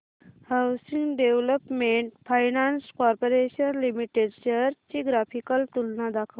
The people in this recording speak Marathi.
housing development finance corporation limited shares ची ग्राफिकल तुलना दाखव